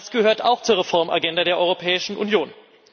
Das gehört auch zur Reformagenda der Europäischen Union.